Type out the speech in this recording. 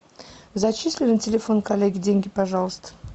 зачисли на телефон коллеги деньги пожалуйста